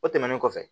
O tɛmɛnen kɔfɛ